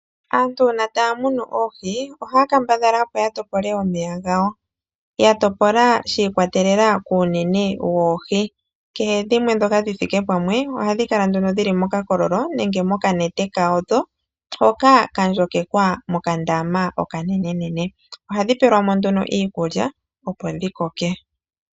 Aantu uuna taya tekula oohi, ohaya kambadhala opo ya topole omeya gawo. Taya topola shi ikwatelela kuunene woohi. Kehe ndhoka dhi thike pamwe, ohadhi kala nduno dhili mokakololo, nenge mokanete kandho, hoka ka ndjokekwa mokandama okanene. Ohadhi pelwa mo nduno iikulya opo dhi koke.